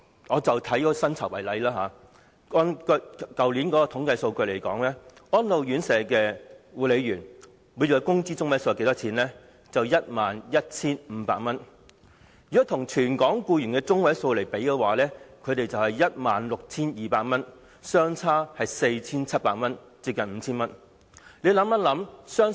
我舉薪酬為例，根據去年的統計數據，安老院舍護理員的每月工資中位數是 11,500 元，與全港僱員的每月工資中位數 16,200 元相比，相差 4,700 元，接近 5,000 元。